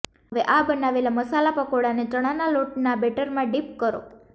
હવે આ બનાવેલા મસાલા પકોડા ને ચણા ના લોટ ના બેટર માં ડીપ કરો